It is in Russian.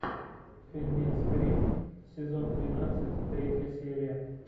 фильмец гримм сезон тринадцать третья серия